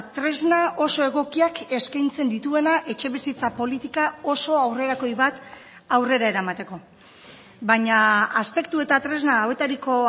tresna oso egokiak eskaintzen dituena etxebizitza politika oso aurrerakoi bat aurrera eramateko baina aspektu eta tresna hauetariko